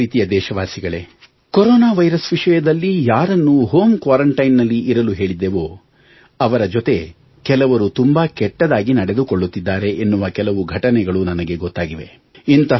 ನನ್ನ ಪ್ರೀತಿಯ ದೇಶವಾಸಿಗಳೇ ಕೊರೊನಾ ವೈರಸ್ ವಿಷಯದಲ್ಲಿ ಯಾರನ್ನು ಹೋಮ್ ಕ್ವಾರಂಟೈನ್ ನಲ್ಲಿ ಇರಲು ಹೇಳಿದ್ದೆವೋ ಅವರ ಜೊತೆ ಕೆಲವರು ತುಂಬಾ ಕೆಟ್ಟದಾಗಿ ನಡೆದುಕೊಳ್ಳುತ್ತಿದ್ದಾರೆ ಎನ್ನುವ ಕೆಲವು ಘಟನೆಗಳು ನನಗೆ ಗೊತ್ತಾಗಿವೆ